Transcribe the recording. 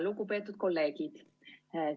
Lugupeetud kolleegid!